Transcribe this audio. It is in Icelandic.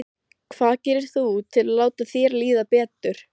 Hvað gerir þú til að láta þér líða betur?